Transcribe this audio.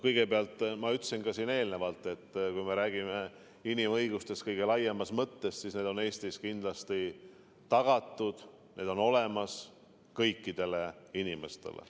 Kõigepealt, ma ütlesin ka siin eelnevalt, et kui me räägime inimõigustest kõige laiemas mõttes, siis need on Eestis kindlasti tagatud, need on olemas kõikidele inimestele.